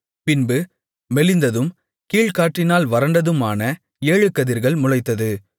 பின்பு மெலிந்ததும் கீழ்காற்றினால் வறண்டதுமான ஏழு கதிர்கள் முளைத்தது